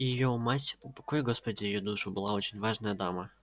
и её мать упокой господи её душу была очень важная дама